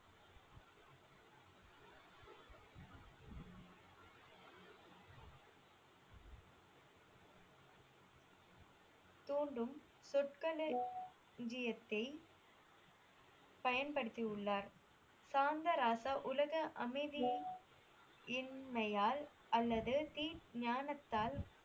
துண்டும் தொட்கனு எஞ்சியதை பயன்படுத்தியுள்ளார் சாந்தராசா உலக அமைதியின்மையால் அல்லது தி ஞானத்தால்